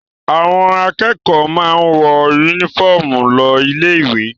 Àwọn akẹ́kọ̀ọ́ máa ń wọ únífọ́ọ́mù lọ ilé-ìwé.